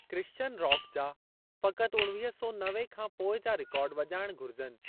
Christian rock जा फ़क़ति उणिवीह सौ नवे खां पोइ जा रिकार्ड वॼाइणु घुरिजनि।